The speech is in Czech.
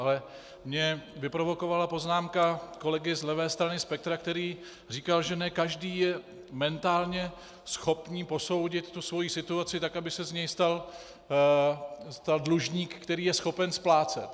Ale mě vyprovokovala poznámka kolegy z levé strany spektra, který říkal, že ne každý je mentálně schopný posoudit tu svoji situaci tak, aby se z něho nestal dlužník, který je schopen splácet.